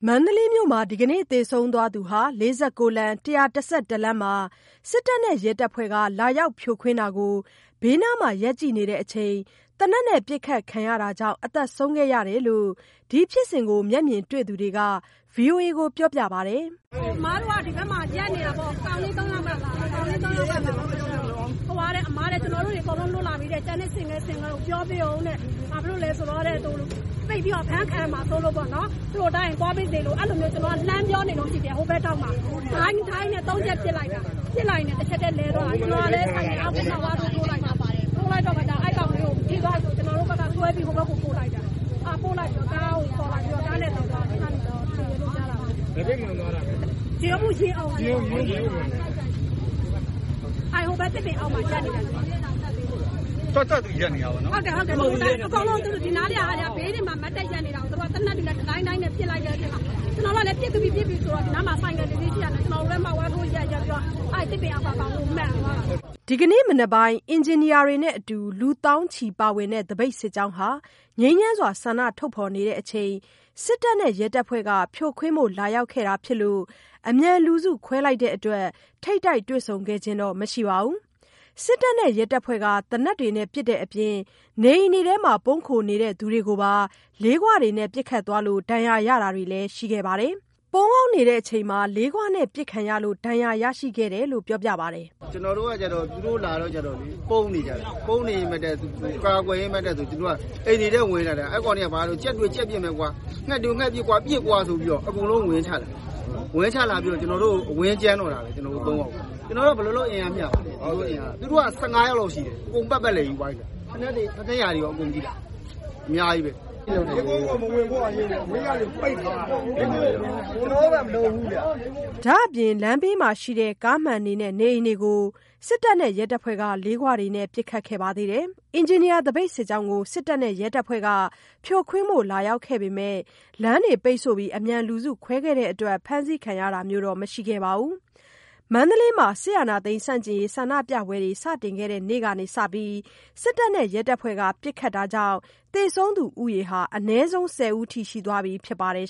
မန္တလေးမြို့မှာ ဒီကနေ့ သေဆုံးသွားသူဟာ ၄၉ လမ်း ၁၁၁ လမ်းမှာ စစ်တပ်နဲ့ရဲတပ်ဖွဲ့က လာရောက်ဖြိုခွင်းတာကို ဘေးနားမှာ ရပ်ကြည့်နေတဲ့အချိန် သေနတ်နဲ့ပစ်ခတ်ခံရတာကြောင့် အသက်ဆုံးခဲ့ရတယ်လို့ ဒီဖြစ်စဉ်ကို မျက်မြင်တွေ့သူတွေက ဗွီအိုအေကို ပြောပြပါတယ်။ “အမတို့က ဒီဘက်မှာ ရပ်နေတာပေါ့။ ကောင်လေး ၃ ယောက်က လာတယ်။ အမ ကျနော်တို့တွေ အကုန်လုံး လွတ်လာပြီ ကျန်တဲ့ဆင့်ကဲဆင့်ကဲကို ပြောပေးအုံးတဲ့ ဘာလို့လည်းဆိုတော့ ပိတ်ပြီးတော့ အဖမ်းခံရမှာဆိုးလို့ပေါ့နော်။ ကျွန်တော်ကအဲ့လိုလှမ်းပြောနေတုန် းရှိသေးတယ်။ ဟိုဘက်ထောင့်မှာ ဒိုင်းဒိုင်းနဲ့ ၃ ချက်ပစ်လိုက်တာ ပစ်လိုက်ရင်းနဲ့ တချက်တည်း လဲသွားတာ ကျနော်ကလည်း ဆိုင်ကယ်အောက် ဝမ်းလျားထိုးလိုက်တာ အဲ့ကောင်လေးကို ထိသွားပြီဆိုတော့ ကျနော်တို့က ဟိုဘက်ကိုဆွဲပြီး ပို့လိုက်တာ။ ပို့လိုက်ပြီးကားကို ခေါ်လာပြီး ကားနဲ့သယ်သွားတာ။ သေသွားတယ်လို့ကြားတာပဲ။ ရင်အုံကို မှန်သွားတာ။ အဲ့ဟိုဘက် သစ်ပင်အောက်မှာ ရပ်နေတာ။ သူက သူ့ဘာသာသူရပ်နေတာ။ (ဟုတ်တယ် သူ့က သူ့ဘာသာသူရပ်နေတာ) ဒီနားလေးက အကုန်လုံး သူ့ဟာသူ ဘေးတွေမှာ ရပ်နေတာကို သေနတ်တွေနဲ့ တဒိုင်းဒိုင်း ပစ်လိုက်တဲ့အချိန်မှာ ကျနော်တို့ကလည်း ပစ်ပြီပစ်ပြီဆိုပြီး ဒီနားမှာဆိုင်ကယ် တစီးရှိတာနဲ့ မှောက်ထိုးလိုက်ပြီး အဲ့သစ်ပင်အောက်က ကောင်လေးကိုမှန်သွားတာပဲ။” ဒီကနေ့မနက်ပိုင်း အင်ဂျင်နီယာတွေ နဲ့အတူ လူသောင်းချီပါဝင်တဲ့ သပိတ်စစ်ကြောင်းဟာ ငြိမ်းချမ်းစွာ ဆန္ဒထုတ်ဖော်နေချိန် စစ်တပ်နဲ့ရဲတပ်ဖွဲ့က ဖြိုခွင်းဖို့လာရောက်ခဲ့တာဖြစ်လို့ အမြန်လူစုခွဲလိုက်တဲ့အတွက် ထိပ်တိုက်တွေ့ဆုံခဲ့ခြင်းတော့မရှိပါဘူး။ စစ်တပ်နဲ့ ရဲတပ်ဖွဲ့က သေနတ်တွေနဲ့ ပစ်တဲ့အပြင် နေအိမ်အတွင်း ပုန်းခိုနေတဲ့သူတွေကိုပါ လေးခွနဲ့ပစ်ခတ်သွားလို့ ဒဏ်ရာရတာတွေလည်းရှိပါတယ်။ ပုန်းအောင်းနေတဲ့အချိန် လေးဂွနဲ့ ပစ်ခံလို့ ဒဏ်ရာရရှိခဲ့တယ်လို့ ပြောပြပါတယ်။ “ကျနော်တို့ကကျတော့ သူတို့လာတော့ကြတော့ ပုန်းနေကြတာ။ ပုန်းနေကြတော့ အကာအကွယ်အောက်မှာနေရင်းနဲ့ သူတို့က အိမ်နေထဲဝင်လာတာ။ အဲ့ကောင်တွေက ဘာတုန်း ကြက်တွေ့ကြက်ပစ်မယ်ကွာ ငှက်တွေ့ငှက်ပစ်ကွာဆိုပြီး အကုန်လုံးဝင်ချလာတာ။ ကျနော်တို့ကို ဝင်ကြမ်းတော့တာပဲ။ ကျနော်တို့က ဘယ်လိုလုပ်အင်အားမျှမှာလဲ။ သူတို့က ၁၅ ယောက်လောက် ရှိတယ် အကုန်ပတ်ပတ်လည်ကြီး ဝိုင်းထားတာ။ ဖိနပ်ရာတွေလည်း အကုန်ရှိတယ်။ အများကြီးပဲ။ ရပ်ကွက်ကို မဝင်နိုင်အောင် အကုန်လုံးပိတ်ထားရတာ ကျနော်တို့က မလုပ်ပါဘူးဗျ။” ဒါ့အပြင် လမ်းဘေးမှာရှိတဲ့ ကားမှန်တွေနဲ့နေအိမ်တွေကို စစ်တပ်နဲ့ရဲတပ်ဖွဲ့က လေးခွတွေနဲ့ပစ်ခတ်တာတွေလည်းပြုလုပ်ခဲ့ပါသေးတယ်။ အင်ဂျင်နီယာ သပိတ်စစ်ကြောင်းကို စစ်တပ်နဲ့ရဲတပ်ဖွဲ့က ဖြိုခွင်းဖို့လာရောက်ခဲ့ပေမယ့် လမ်းတွေပိတ်ဆို့ပြီး အမြန်လူစုခွဲခဲ့တဲ့အတွက် ဖမ်းဆီးခံရတာတော့မရှိခဲ့ပါဘူး။ မန္တလေးမှာ စစ်အာဏာသိမ်းဆန့်ကျင်ရေး ဆန္ဒပြပွဲတွေ စတင်ခဲ့တဲ့နေ့ကစပြီး စစ်တပ်နဲ့ရဲတပ်ဖွဲ့က ပစ်ခတ်တာကြောင့် သေဆုံးသူ ဦးရေ အနည်းဆုံး ၁၀ ဦးအထိ ရှိသွားပြီ ဖြစ်ပါတယ်